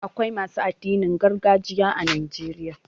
Akwai masu addinin gargajiya a Najeriya.